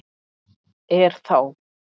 Er þá